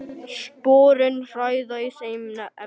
Sporin hræða í þeim efnum.